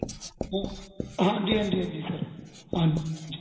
ਹਾਂ ਹਾਂਜੀ ਹਾਂਜੀ ਹਾਂਜੀ sir ਹਾਂਜੀ